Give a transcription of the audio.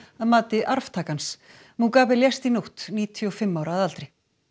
að mati arftaka hans lést í nótt níutíu og fimm ára að aldri